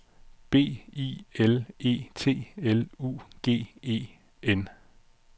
B I L L E T L U G E N